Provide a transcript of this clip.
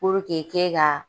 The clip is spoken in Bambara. ke ka